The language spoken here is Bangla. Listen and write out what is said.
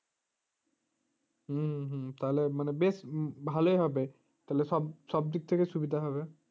হম হম তাহলে মানে বেশ ভালই হবে তাহলে এসব দিক থেকে সুবিধা হবে